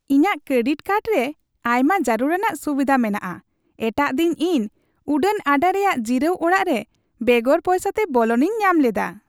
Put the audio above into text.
ᱤᱧᱟᱜ credit card ᱨᱮ ᱟᱭᱢᱟ ᱡᱟᱹᱨᱩᱲᱟᱱᱟᱜ ᱥᱩᱵᱤᱫᱷᱟ ᱢᱮᱱᱟᱜᱼᱟ ᱾ ᱮᱴᱟᱜ ᱫᱤᱱ ᱤᱧ ᱩᱰᱟᱹᱱ ᱟᱰᱟ ᱨᱮᱭᱟᱜ ᱡᱤᱨᱟᱹᱣ ᱚᱲᱟᱜ ᱨᱮ ᱵᱮᱜᱚᱨ ᱯᱚᱭᱥᱟᱛᱮ ᱵᱚᱞᱚᱱᱤᱧ ᱧᱟᱢ ᱞᱮᱫᱟ ᱾